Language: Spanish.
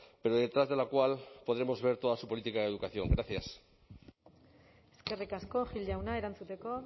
pero detrás de la cual podremos ver toda su política de educación gracias eskerrik asko gil jauna erantzuteko